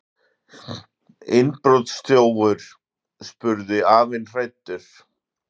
Innbrotsþjófur? spurði afinn hræddur.